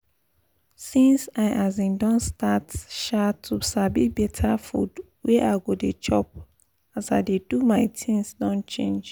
since i um don start um to sabi better food wey i go dey chop as i dey do my things don change